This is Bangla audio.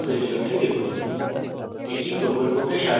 এই লিঙ্কে উপলব্ধ video দেখুন spokentutorial org/what is a spokentutorial